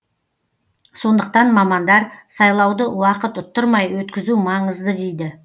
сондықтан мамандар сайлауды уақыт ұттырмай өткізу маңызды дейді